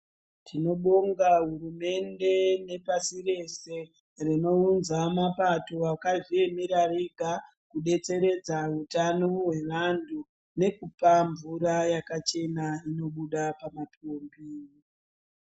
Tinobonga hurumende nepasi rese rinoudza mapato akazviemera ega kubeteseredza utano wevantu nekupa mvura yakachena inobuda pama pombi.